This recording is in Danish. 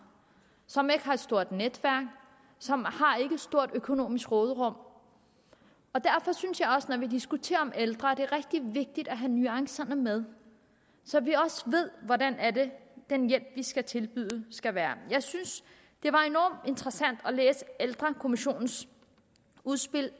som ikke har et stort netværk som har et stort økonomisk råderum derfor synes jeg også når vi diskuterer ældre er rigtig vigtigt at have nuancerne med så vi også ved hvordan den hjælp vi skal tilbyde skal være jeg synes det var enormt interessant at læse ældrekommissionens udspil